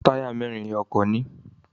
Táyà mẹ́rin ni ọkọ̀ ní.